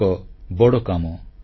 ଏହା ଏକ ବଡ଼ କାମ